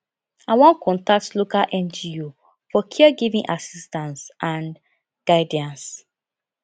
i wan contact local ngo for caregiving assistance and guidance